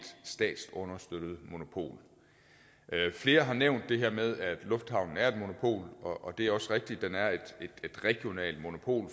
statsunderstøttet monopol flere har nævnt det her med at lufthavnen er et monopol og det er også rigtigt den er et regionalt monopol